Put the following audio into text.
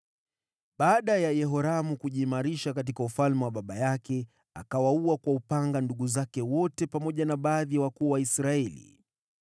Baada ya Yehoramu kujiimarisha katika ufalme wa baba yake, akawaua kwa upanga ndugu zake wote pamoja na baadhi ya wakuu wa Israeli.